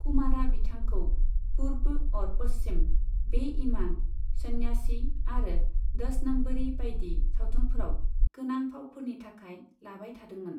कुमारआ बिथांखौ 'पूर्ब और पश्चिम', 'बे ईमान', 'सन्यासी' आरो 'दस नम्बरी' बायदि सावथुनफोराव गोनां फावफोरनि थाखाय लाबाय थादोंमोन।